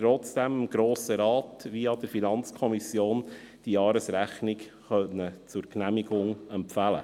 Trotzdem konnte sie aber dem Grossen Rat die Jahresrechnung via FiKo zur Genehmigung empfehlen.